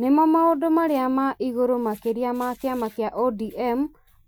nĩmo maũndũ marĩa ma igũrũ makĩria ma kĩama kĩa ODM